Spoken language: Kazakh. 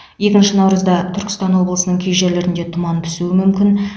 екінші наурызда түркістан облысының кей жерлерінде тұман түсуі мүмкін